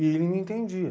E ele me entendia.